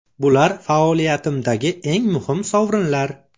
Bular faoliyatimdagi eng muhim sovrinlar.